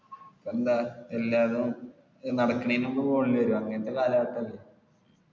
എന്താ എല്ലാരും നടക്ക്ണെനു മുമ്പ് phone ൽ വെറും അങ്ങനെ ഒക്കെ